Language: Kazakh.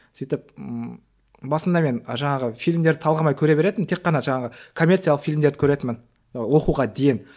сөйтіп ммм басында мен жаңағы фильмдерді талғамай көре беретінмін тек қана жаңағы коммерциялық фильмдерді көретінмін ы оқуға дейін